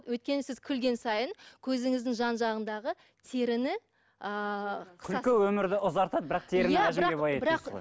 өйткені сіз күлген сайын көзіңіздің жан жағындағы теріні ыыы күлкі өмірді ұзартады бірақ